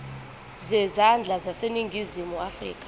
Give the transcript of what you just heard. zezandla zaseningizimu afrika